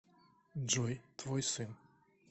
джой твой сын